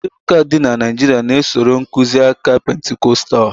ụfọdụ ụka dị na Naijiria na- esoro nkuzi aka Pentikọstal